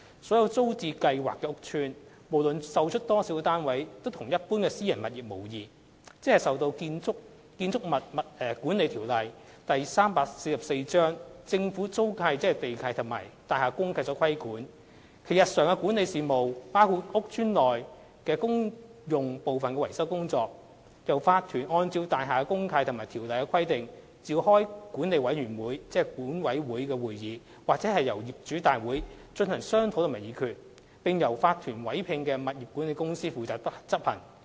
所有租置屋邨，無論售出多少單位，均與一般私人物業無異，即受《建築物管理條例》、政府租契及大廈公契所規管，其日常的管理事務，包括屋邨內公用部分的維修工作，由業主立案法團按照大廈公契及《條例》的規定，召開管理委員會會議或業主大會進行商討及議決，並由法團委聘的物業管理公司負責執行。